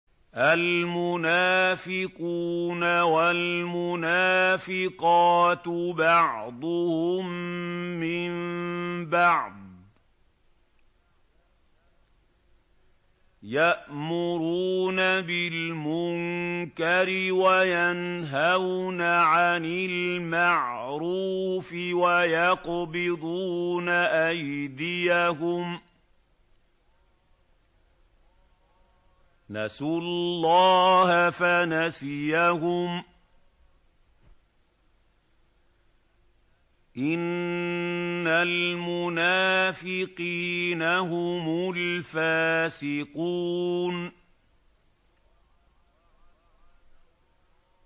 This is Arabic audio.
الْمُنَافِقُونَ وَالْمُنَافِقَاتُ بَعْضُهُم مِّن بَعْضٍ ۚ يَأْمُرُونَ بِالْمُنكَرِ وَيَنْهَوْنَ عَنِ الْمَعْرُوفِ وَيَقْبِضُونَ أَيْدِيَهُمْ ۚ نَسُوا اللَّهَ فَنَسِيَهُمْ ۗ إِنَّ الْمُنَافِقِينَ هُمُ الْفَاسِقُونَ